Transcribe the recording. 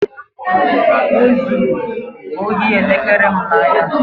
E zuru ohi elekere m n'ahịa